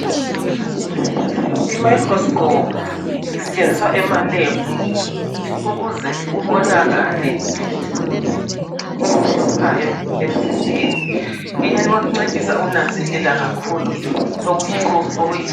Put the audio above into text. Imicroscope isetshenziswa emaLab ukuze kubonakale okuhluphayo emzimbeni. Iyancedisa ukunanzelela kakhulu okuyikho okuyinkinga.